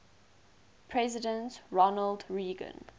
president ronald reagan